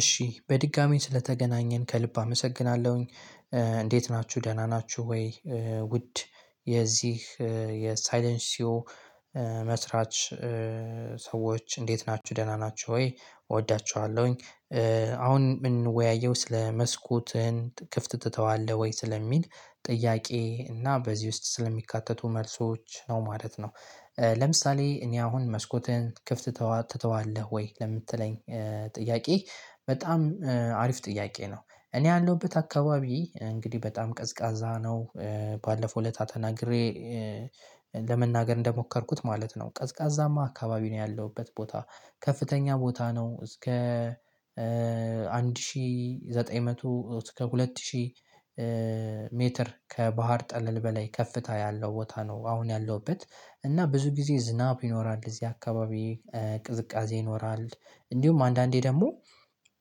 እሺ በድጋሚ ስለተገናኘን ከልብ አመሰግናለሁኝ እንዴት ናችሁ ደህና ናችሁ ወይ ውድ የዚህ የሳይለንሲዮ መስራች ሰዎች እንዴት ናችሁ ደህና ናችሁ ወይ እወዳችኋለሁኝ። አሁን ምን ወያየው ስለ "መስኮትህን ክፍት ትተዋለህ ወይ?" ስለሚል ጥያቄ እና በዚህ ውስጥ ስለሚካተቱ መልሶች ነው ማለት ነው። ሰዎች እንዴት ናችሁ ደህና ናችሁ ወይ እወዳችኋለሁኝ። አሁን ምን ወያየው ስለ "መስኮትህን ክፍት ትተዋለህ ወይ?" ስለሚል ጥያቄ፤ እና በዚህ ውስጥ ስለሚካተቱ መልሶች ነው ማለት ነው። ባለፈው እለታ ተናግሬ ለመናገር እንደሞከርኩት ማለት ነው ቀዝቃዛማ አካባቢ ነው ያለሁበት ቦታ ከፍተኛ ቦታ ነው እስከ አንድ ሺህ ዘጠኝ መቶ እስከ ሁለት ሺህ ሜትር ከባህር ጠለል በላይ ከፍታ ያለው ቦታ ነው አሁን ያለሁበት እና ብዙ ጊዜ ዝናብ ይኖራል እዚህ አካባቢ ቅዝቃዜ ይኖራል እንዲሁም አንዳንዴ ደግሞ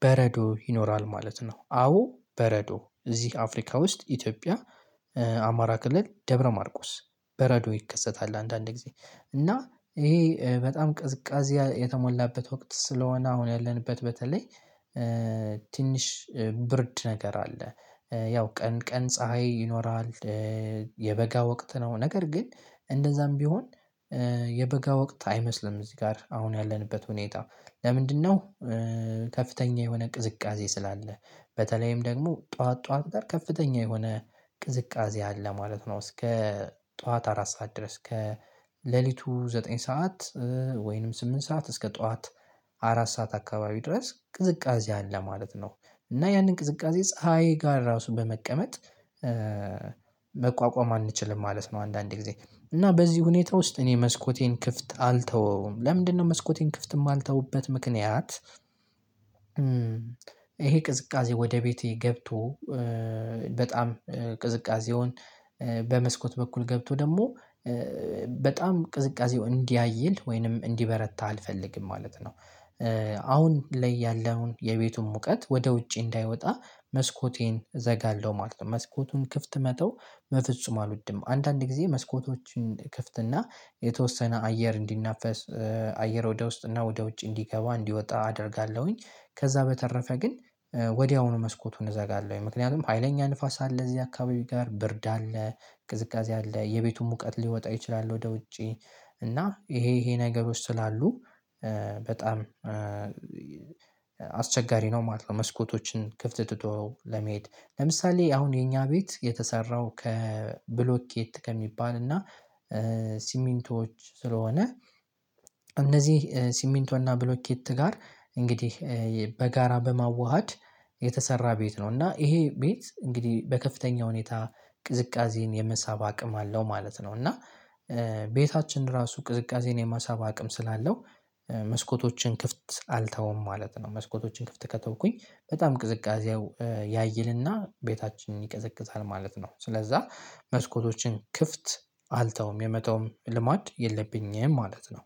በረዶ ይኖራል ማለት ነው አዎ በረዶ እዚህ አፍሪካ ውስጥ ኢትዮጵያ አማራ ክልል ደብረ ማርቆስ በረዶ ይከሰታል አንዳንድ ጊዜ፤ እና ይሄ በጣም ቅዝቃዜ የተሞላበት ወቅት ስለሆነ አሁን ያለንበት በተለይ ትንሽ ብርድ ነገር አለ። ያው ቀን ቀን ፀሀይ ይኖራል የበጋ ወቅት ነው ነገር ግን እንደዛም ቢሆን የበጋ ወቅት አይመስልም እዚህ ጋር አሁን ያለንበት ሁኔታ ለምንድነው ከፍተኛ የሆነ ቅዝቃዜ ስላለ በተለይም ደግሞ ጠዋት ጠዋት ጋር ከፍተኛ የሆነ ቅዝቃዜ አለ ማለት ነው እስከ ጠዋት አራት ሰዓት ድረስ ከሌሊቱ ዘጠኝ ሰዓት ወይንም ስምንት ሰዓት እስከ ጠዋት አራት ሰዓት አካባቢ ድረስ ቅዝቃዜ አለ ማለት ነው፤ እና ያንን ቅዝቃዜ ፀሀይ ጋር ራሱ በመቀመጥ መቋቋም አንችልም ማለት ነው አንዳንድ ጊዜ እና በዚህ ሁኔታ ውስጥ እኔ መስኮቴን ክፍት አልተወውም። ለምንድነው መስኮቴን ክፍት የማልተውበት ምክንያት ይሄ ቅዝቃዜ ወደ ቤቴ ገብቶ በጣም ቅዝቃዜውን በመስኮት በኩል ገብቶ ደግሞ በጣም ቅዝቃዜው እንዲያይል ወይንም እንዲበረታ አልፈልግም ማለት ነው። አሁን ላይ ያለውን የቤቱን ሙቀት ወደ ውጪ እንዳይወጣ መስኮቴን እዘጋለሁ ማለት ነው። መስኮቱን ክፍት መተው በፍጹም አልወድም። አንዳንድ ጊዜ መስኮቶችን እከፍትና የተወሰነ አየር እንዲናፈስ አየር ወደ ውስጥ እና ወደ ውጭ እንዲገባ እንዲወጣ አደርጋለሁኝ። ከዛ በተረፈ ግን ወዲያውኑ መስኮቱን እዘጋለሁኝ። ምክንያቱም ሀይለኛ ንፋስ አለ እዚህ አካባቢ ጋር ብርድ አለ ቅዝቃዜ አለ የቤቱን ሙቀት ሊወጣ ይችላል ወደ ውጪ፤ እና ይሄ ይሄ ነገሮች ስላሉ በጣም አስቸጋሪ ነው ማለት ነው መስኮቶችን ክፍት ትቶ ለመሄድ። ለምሳሌ አሁን የኛ ቤት የተሰራው ከብሎኬት ከሚባል እና ሲሚንቶዎች ስለሆነ እነዚህ ሲሚንቶና ብሎኬት ጋር እንግዲህ በጋራ በማዋሃድ የተሰራ ቤት ነው፤ እና ይሄ ቤት እንግዲህ በከፍተኛ ሁኔታ ቅዝቃዜን የመሳብ አቅም አለው ማለት ነው፤ እና ቤታችን ራሱ ቅዝቃዜን የመሳብ አቅም ስላለው መስኮቶችን ክፍት አልተውም ማለት ነው መስኮቶችን ክፍት ከተውኩኝ በጣም ቅዝቃዜው ያይልና ቤታችንን ይቀዘቅዛል ማለት ነው። ስለዛ መስኮቶችን ክፍት አልተውም የመተውም ልማድ የለብኝም ማለት ነው።